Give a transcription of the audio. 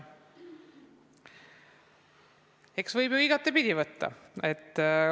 Eks võib ju igatepidi võtta.